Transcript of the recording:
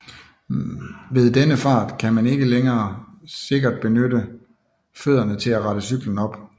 Ved denne fart kan man ikke længere sikkert benytte fødderne til at rette cyklen op